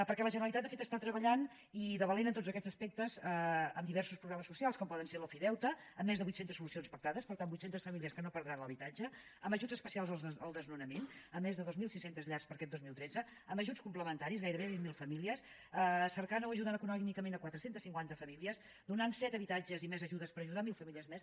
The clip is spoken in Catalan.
perquè la generalitat de fet està treballant i de valent en tots aquests aspectes amb diversos programes socials com poden ser l’ofideute amb més de vuitcentes solucions pactades per tant vuit centes famílies que no perdran l’habitatge amb ajuts especials al desnonament amb més de dos mil sis cents llars per a aquest dos mil tretze amb ajuts complementaris gairebé vint mil famílies cercant o ajudant econòmicament quatre cents i cinquanta famílies donant set habitatges i més ajudes per ajudar mil famílies més